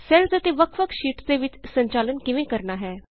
cells ਅਤੇ ਵੱਖ ਵੱਖ ਸ਼ੀਟਸ ਦੇ ਵਿਚ ਸੰਚਾਲਨ ਕਿਵੇਂ ਕਰਨਾ ਹੈ